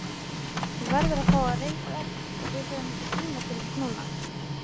Þú verður að fá að reiðast og við höfum ekki tíma til þess núna.